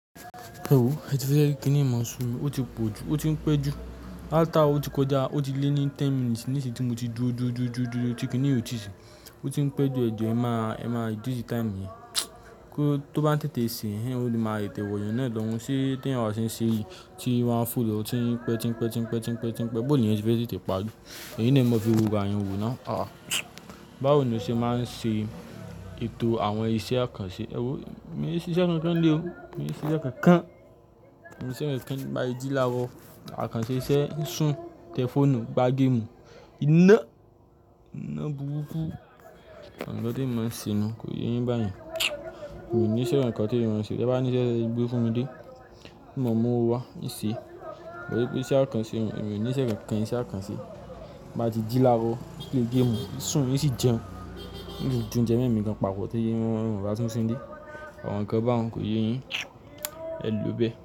Ẹ ò, ẹ ti fẹ́ rí kìnìún máa sú mi. Ó ti pọ̀ jù, ó ti ń pẹ́ jù. Hálf áwà ó ti kọjá, ó ti lé ní ten minutes níṣìń tí mo ti dúró, dúró, dúró, dúró, dúró, tí kìnì yìí ò tíì ṣú. Ó ti ń pẹ́ jù, ẹ jù ẹ máa, ẹ máa dírì táìmù yẹn. Kó tó bá ń tètè ṣe, ó máa tẹ̀ wù èèyán náà lọ́hun. Ṣé tí èèyàn bá ṣe ń ṣe yìí tí ó wa ń fò lọ́ tí ń pẹ́, tí ń pẹ́, tí ń pẹ́, tí ń pẹ́, tí ń pẹ́ bó ni ẹyan ṣe fẹ́ tẹ̀tẹ́ parí. Èyín ná e máa fi wo ìwà eyàn wò now. Báwo ni o ṣe máa ń ṣe ètò àwọn iṣẹ́ àkànṣe? Ẹ ò, mo ní iṣẹ́ kan kan nílé o. Mo ní iṣẹ́ kan kan. Mo ní iṣẹ́ kan kan ti n báa ti jí láaro àkànṣe iṣẹ́, sùn, tẹ fóònù, gbá géèmù. Iná, iná búrúku. Àwọn ǹkan tí èmi máa ń ṣeni yẹn kò yé yín bá yẹn. Mio ní iṣẹ́ kan kan tí èmi máa ṣe. Tẹ́ bá ní iṣẹ́ tẹ́ lè gbé fún mi dé, tí o mo máa mú ọwọ́ wá, n ṣé. Torí pé iṣẹ́ àkànṣe, mo ní iṣẹ́ kan kan, iṣẹ́ àkànṣe. Bá di dí lára, play géèmù, sùn, n sì jẹun. N tún joúnjẹ mí mi gan papọ̀ tó jẹ́ wọn ba tun síni ilé. Àwọn nǹkan báun wọn kò yé yín. Ẹ lò bẹ̀